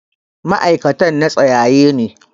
ma'aikatan na tsayaye ne.